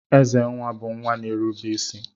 Ezenna bu nwa na-erube isi.